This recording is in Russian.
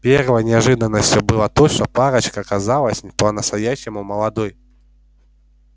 первой неожиданностью было то что парочка оказалась не по-настоящему молодой